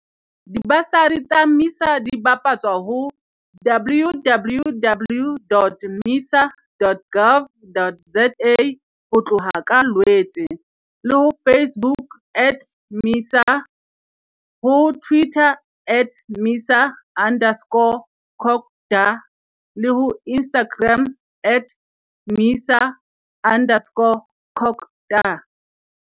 Dibasari tsa MISA di bapatswa ho www.misa.gov.za ho tloha ka Lwetse, le ho Facebook at MISA, ho Twitter at MISA underscore CoGTA le ho Instagram at MISA underscore CoGTA.